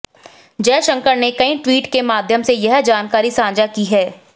जयशंकर ने कई ट्वीट के माध्यम से यह जानकारी साझा की है